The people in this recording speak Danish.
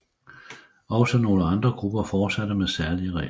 Også nogle andre grupper fortsatte med særlige regler